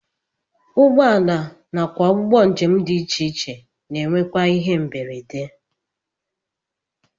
Ụgbọala nakwa ụgbọ njem dị iche ihe na-enwekwa ihe mberede